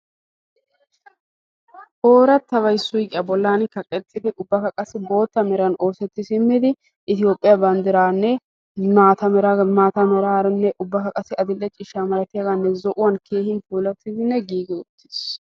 oorataby suuqiyaa bolan kaqetidi ubakka qassi bootta meran oosetti simmidi toophiya banditaninne maata malanne adil'e ciishsha malatidi giigi utiis.